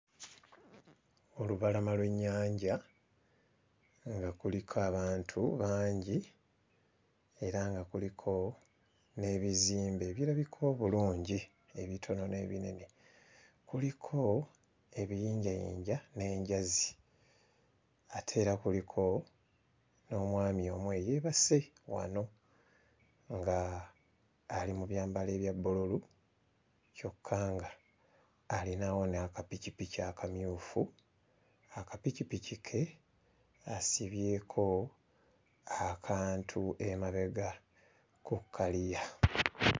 Olubalama lw'ennyanja nga kuliko abantu bangi era nga kuliko n'ebizimbe ebirabika obulungi ebitono n'ebinene, kuliko ebiyinjayinja n'enjazi ate era kuliko n'omwami omu eyeebase wano nga alimu mu byambalo ebya bbululu kyokka nga alinawo n'akapikipiki akamyufu. Akapikipiki ke asibyeko akantu emabega ku kkaliya.